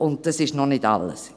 Das ist aber noch nicht alles.